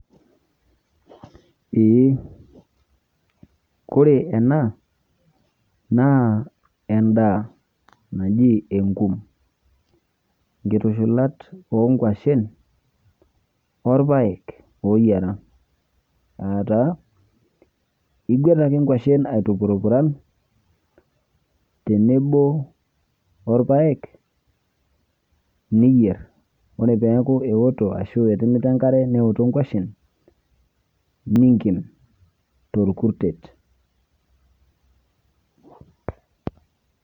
Ee koree ena na endaa, naji enkum nkitushulat onkuashen orpaek oyiara ataa iguet ake nkwashen aitupurupuran tenebo orpaek niyier, ore peaku eoto ashu etimita enkare neoto nkwashen ninken torkurtet.